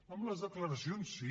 amb les declaracions sí